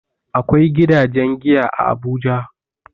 Akwai gidajen giya a Abuja.